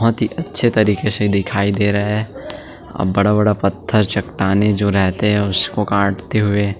बहुत ही अच्छी तरीके से दिखाई दे रहा है बड़ा-बड़ा पत्थर चट्टानें रहते हैं उसको काटते हुए --